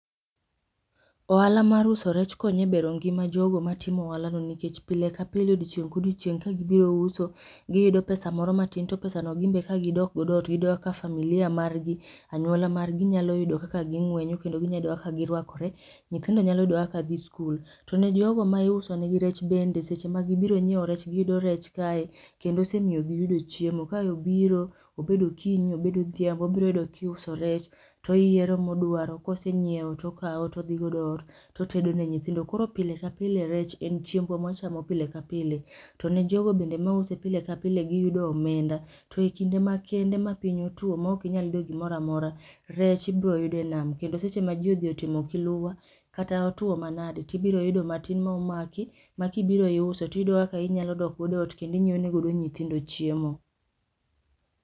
Ohala mar uso rech konyo e bero ngima jogo matimo ohalano nikech pile ka pile, odiechieng' ka odiechieng' ka gibiro uso giyudo pesa moro matin to pesa go ka gidok godo ot giyudo ka familia marg,i anyuola margi nyalo yudo kaka ging'wenyo kendo ginyalo yudo kaka girwakore, nyithindo nyalo yudo kaka gidhi skul. To ne jogo ma iusonegi rech bende, eseche ma gibiro nyiewo rech giyudo rech kae kendo osemiyo giyudo chiemo. Ka obiro ob ed okinyi, obed odhiambo obiro yudo ka iuso rech to oyiero modwaro kose nyiewo tokawo to odhi godo eot. To otedo ne nyithindo, koro pile ka pile rech en chiembwa mawachamo pile ka pile to ne jogo bende mause pile ka pile giyudo omenda. To kinde makende ma piny otuo maok inyal yudo gimoro amora, rech ibiro yudo e nam, kendo seche ma ji odhi otimo kiluwa, kata otuo manade, to ibiro yudo matin ma omaki k´ma ka ibiro iuso to iyudo kaka idok ot kendo inyiewo nego nyithindo chiemo.